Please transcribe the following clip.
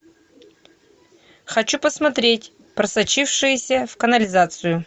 хочу посмотреть просочившиеся в канализацию